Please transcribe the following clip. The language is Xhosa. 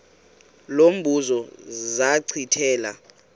lo mbuzo zachithela